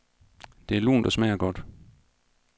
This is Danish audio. Det er lunt og smager godt.